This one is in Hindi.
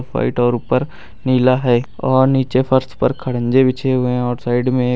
व्हाइट और ऊपर नीला है और नीचे फर्श पर खड़जे बिछे हुए है और साइड में एक--